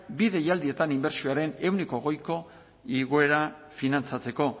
bi deialdietan inbertsioaren ehuneko hogeiko igoera finantzatzeko